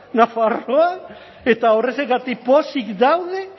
nafarroan eta horrexegatik pozik daude